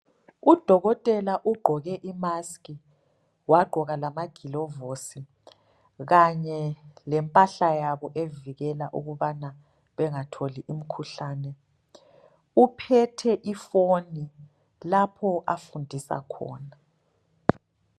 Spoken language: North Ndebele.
Udokotela ugqoke imaskhi, wagqoka lamagilovusi, kanye lempahla yabo evikela ukubana bengatholi umkhuhlane. Uphethe ifoni, lapho afundisa khona.